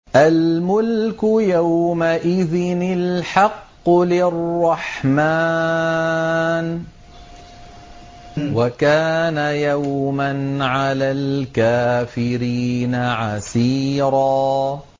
الْمُلْكُ يَوْمَئِذٍ الْحَقُّ لِلرَّحْمَٰنِ ۚ وَكَانَ يَوْمًا عَلَى الْكَافِرِينَ عَسِيرًا